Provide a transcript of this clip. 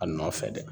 A nɔfɛ dɛ